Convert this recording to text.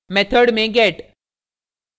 method में get